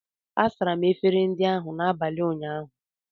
A sachara m efere ndị ahụ n’abalị ụnyaahụ